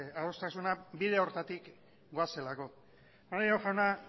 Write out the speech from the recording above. adostasuna bide hartatik doazelako maneiro jauna